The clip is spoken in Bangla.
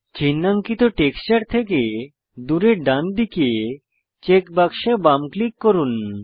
চিন্হাঙ্কিত টেক্সচার থেকে দূরে ডান দিকে চেক বাক্সে বাম ক্লিক করুন